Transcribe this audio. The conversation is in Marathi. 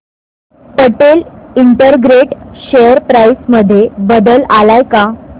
पटेल इंटरग्रेट शेअर प्राइस मध्ये बदल आलाय का